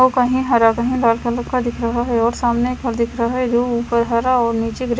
और कही हरा और लाल कलर का दिख रहा है और सामने घर दिख रहा है जो ऊपर हरा और निचे ग्रीन --